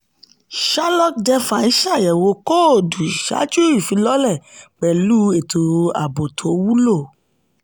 sherlock defi ṣàyẹ̀wò kóòdù ṣáájú ifílọ̀lẹ́ pẹ̀lú ètò ààbò tó wulo.